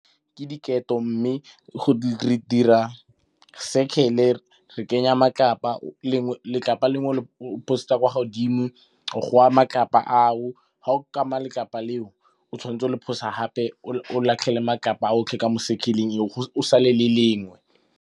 Ke diketo mme re dira circle-e, re kenya matlapa letlapa lengwe le pass-etsa kwa godimo go wa matlapa ao. Ga o letlapa leo o tshwanetse o le pass-e gape o latlhele matlapa a otlhe ka mo cirle-eng go sa le le lengwe.